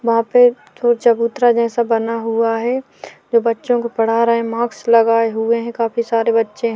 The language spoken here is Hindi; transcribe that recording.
वहाँ पे चो चबूतरा जैसा बना हुआ है जो बच्चों को पढ़ा रहे हैं मास्क लगाए हुए हैं काफी सारे बच्चे हैं।